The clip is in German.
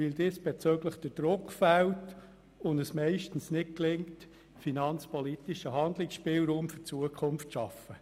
Diesbezüglich gelingt es meistens nicht, finanzpolitisch einen Ausgleich für die Zukunft zu schaffen.